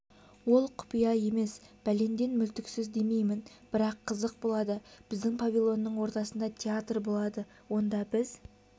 ол құпия емес бәленден мүлтіксіз демеймін бірақ қызық болады біздің павильонның ортасында театр болады онда біз